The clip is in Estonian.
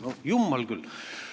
" No jummel küll!